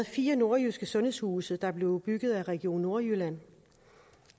fire nordjyske sundhedshuse der er blevet bygget af region nordjylland